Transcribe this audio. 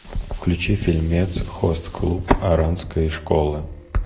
включи фильмец хост клуб оранской школы